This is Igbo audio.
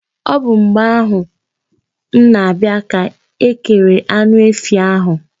Ọ bụ mgbe ahụ m na-abịa ka e kere anụ efi ahụ.